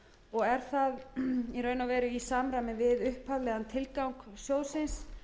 og er það í raun og veru í samræmi við upphaflegan tilgang sjóðsins